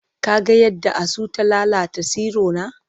Ka ga yadda asu ta lalata tsirona?